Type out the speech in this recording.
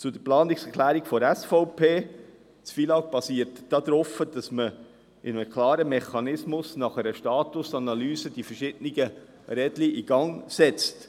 Zur Planungserklärung der SVP: Das FILAG basiert darauf, dass man mit einem klaren Mechanismus nach einer Statusanalyse die verschiedenen Rädchen in Gang setzt.